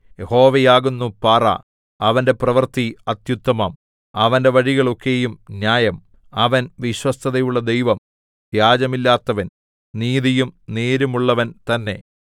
യഹോവയാകുന്നു പാറ അവന്റെ പ്രവൃത്തി അത്യുത്തമം അവന്റെ വഴികൾ ഒക്കെയും ന്യായം അവൻ വിശ്വസ്തതയുള്ള ദൈവം വ്യാജമില്ലാത്തവൻ നീതിയും നേരുമുള്ളവൻ തന്നെ